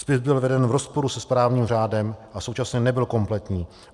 Spis byl veden v rozporu se správním řádem a současně nebyl kompletní.